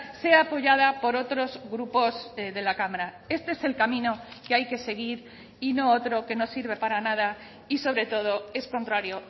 sea apoyada por otros grupos de la cámara este es el camino que hay que seguir y no otro que no sirve para nada y sobre todo es contrario